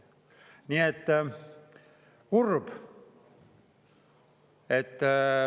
Nii et kurb!